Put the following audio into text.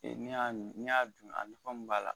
Ee n'i y'a dun a nafa min b'a la